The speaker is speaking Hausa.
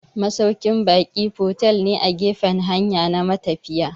Masaukin ba'i fotel ne a gefan hanya na matafiya